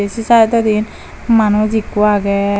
ei se sydodi manuj ikko agey.